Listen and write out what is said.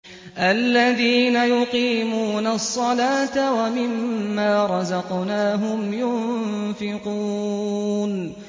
الَّذِينَ يُقِيمُونَ الصَّلَاةَ وَمِمَّا رَزَقْنَاهُمْ يُنفِقُونَ